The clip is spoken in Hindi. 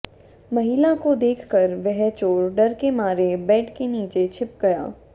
महिला को देख कर वह चोर डर के मारे बेड के नीचे छिप गया